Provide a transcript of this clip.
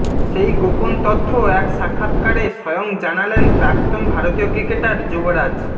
সেই গোপন তথ্য এক সাক্ষাৎকারে স্বয়ং জানালেন প্রাক্তন ভারতীয় ক্রিকেটার যুবরাজ